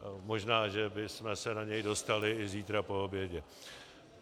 Možná že bychom se na něj dostali i zítra po obědě.